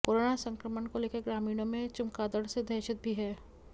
corona संक्रमण को लेकर ग्रामीणों में चमगादड़ से दहशत भी है